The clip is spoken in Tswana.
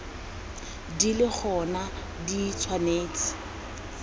di le gona di tshwanetse